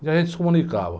E a gente se comunicava.